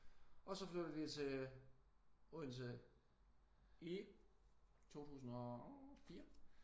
Og så flytter vi til Odense i 2004